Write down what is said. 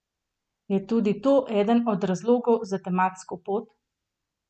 Je tudi to eden od razlogov za tematsko pot?